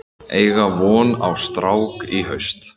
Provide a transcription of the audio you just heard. Eiga von á strák í haust